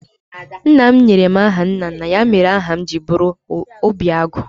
Nna m nyere m aha nna nna ya, ya mere aha m ji bụrụ Obiagu